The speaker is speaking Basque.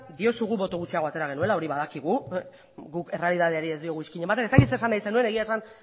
diozu gu boto gutxiago atera genuela hori badakigu gu errealitateari ez diogu izkina ematen ez dakit zer esan nahi zenuen egia esan